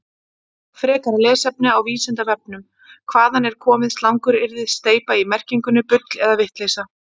Frekara lesefni á Vísindavefnum: Hvaðan er komið slanguryrðið steypa í merkingunni bull eða vitleysa?